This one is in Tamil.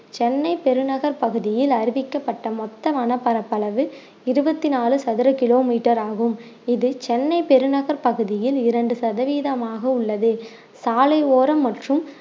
சென்னை பெருநகர் பகுதியில் அறிவிக்கப்பட்ட மொத்த வன பரப்பளவு இருவத்தி நாலு சதுர கிலோமீட்டர் ஆகும் இது சென்னை பெருநகர் பகுதியில் இரண்டு சதவீதமாக உள்ளது சாலையோரம் மற்றும்